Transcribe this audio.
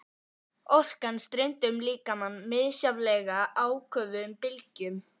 Orkan streymdi um líkamann í misjafnlega áköfum bylgjum.